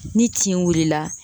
ni tin wulila